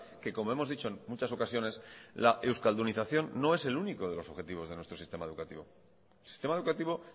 que como hemos dicho en muchas ocasiones la euskaldunización no es el único de los objetivos de nuestro sistema educativo el sistema educativo